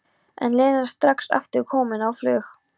En Lena strax aftur komin á flug.